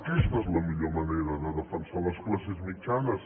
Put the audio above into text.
aquesta és la millor manera de defensar les classes mitjanes